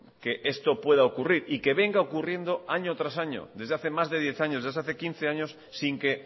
que esto pueda ocurrir y que venga ocurriendo año tras año desde hace más de diez años ya se hace quince años sin que